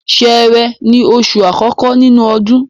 Sẹẹrẹ ni oṣù àkọ́kọ́ nínú ọdún.